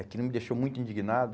Aquilo me deixou muito indignado.